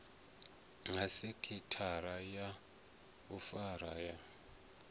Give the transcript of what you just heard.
ha sekhithara ya vhufa ya